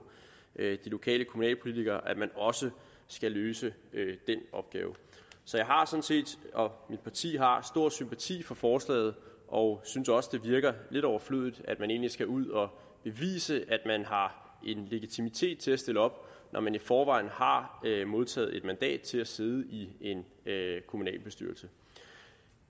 de lokale kommunalpolitikere at man også skal løse den opgave så jeg og mit parti har sådan stor sympati for forslaget og synes også det virker lidt overflødigt at man egentlig skal ud og bevise at man har en legitimitet til at stille op når man i forvejen har modtaget et mandat til at sidde i en kommunalbestyrelse